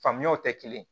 Faamuyaw tɛ kelen ye